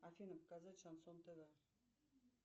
афина показать шансон тв